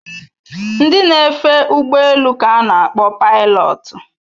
Ndị na-efe ụgbọ elu ka a na-akpọ pailotu